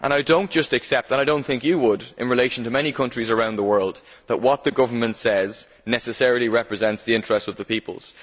I do not just accept and I do not think you would, in relation to many countries around the world that what the government says necessarily represents the interests of the peoples.